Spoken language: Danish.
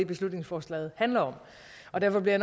beslutningsforslaget handler om og derfor bliver